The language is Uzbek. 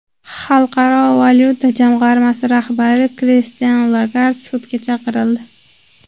Xalqaro valyuta jamg‘armasi rahbari Kristin Lagard sudga chaqirildi.